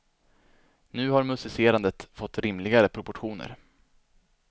Nu har musicerandet fått rimligare proportioner.